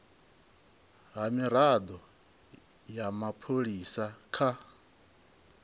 ha mirado ya mapholisa kha